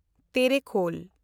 ᱛᱮᱨᱮᱠᱷᱳᱞ